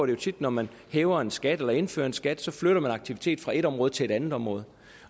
jo tit når man hæver en skat eller indfører en skat så flytter man aktivitet fra et område til et andet område